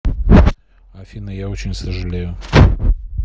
афина я очень сожалею